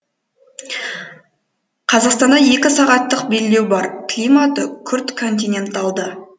қазақстанда екі сағаттық белдеу бар климаты күрт континенталды